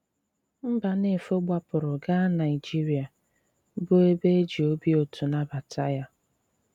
Mbànéfò gbàpụrụ̀ gaa Nàịjìrìà, bụ́ ebe e jì òbì ùtù nàbàtà ya.